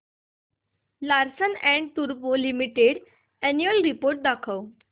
Larsen and टुर्बो Limited annual report दाखव